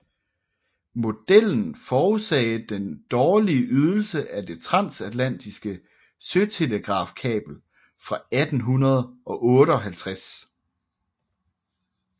Modellen forudsagde den dårlige ydelse af det transatlatiske søtelegrafkabel fra 1858